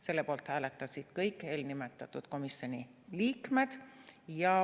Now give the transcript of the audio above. Selle poolt hääletasid kõik eelnimetatud komisjoni liikmed.